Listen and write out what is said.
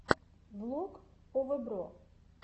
влог овэбро